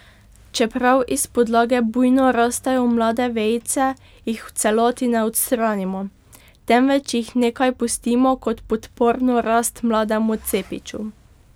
Čeprav iz podlage bujno rastejo mlade vejice, jih v celoti ne odstranimo, temveč jih nekaj pustimo kot podporno rast mlademu cepiču.